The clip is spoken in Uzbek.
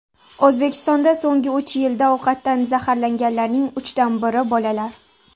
O‘zbekistonda so‘nggi uch yilda ovqatdan zaharlanganlarning uchdan biri bolalar.